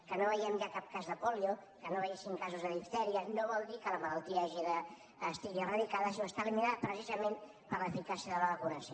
que no vegem ja cap cas de pòlio que no veiéssim casos de diftèria no vol dir que la malaltia estigui eradicada sinó que està eliminada precisament per l’eficàcia de la vacunació